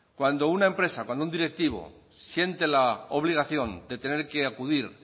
cuando una empresa cuando un directivo siente la obligación de tener que acudir